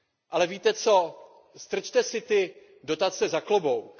Ale víte co, strčte si ty dotace za klobouk.